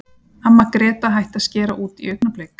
Amma Gréta hætti að skera út í augnablik.